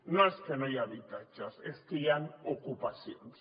no és que no hi hagi habitatges és que hi han ocupacions